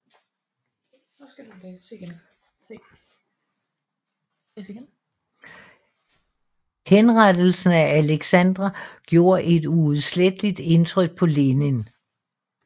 Henrettelsen af Aleksandr gjorde et uudsletteligt indtryk på Lenin